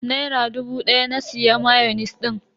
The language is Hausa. Naira dubu daya na siya mayonis din.